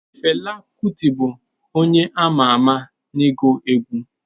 Fela Kuti bụ onye ama ama n'ịgụ egwu.